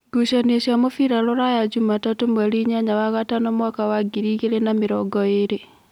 Ngucanio cia mũbira Ruraya Jumatatũ mweri inyanya wa gatano mwaka wa ngiri igĩrĩ na namĩrongoĩrĩ: